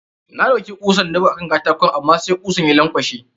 Na ɗaiuki kusan na buga a kan katakon amma sai kusan ya lankwashe.